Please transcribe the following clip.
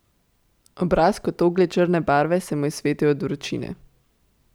Obraz kot oglje črne barve se mu je svetil od vročine.